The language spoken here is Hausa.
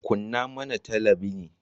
Kunna mana talabinin.